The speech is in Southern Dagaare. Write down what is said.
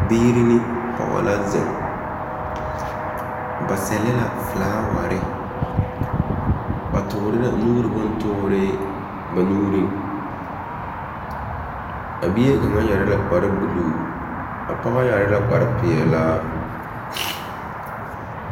Biiri ne pɔge la zeŋ. Ba sɛlɛ la felaaware. Ba toore la nuuri bontoore ba nuuriŋ. A bie kaŋa yɛre la kpare buluu. A pɔge yɛre la kpare peɛlaa.